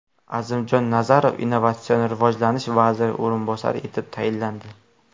Azimjon Nazarov Innovatsion rivojlanish vaziri o‘rinbosari etib tayinlandi.